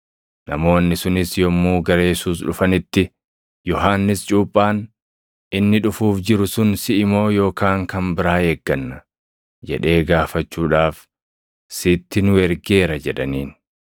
Namoonni sunis yommuu gara Yesuus dhufanitti, “Yohannis cuuphaan, ‘Inni dhufuuf jiru sun siʼi moo yookaan kan biraa eegganna?’ jedhee gaafachuudhaaf sitti nu ergeera” jedhaniin.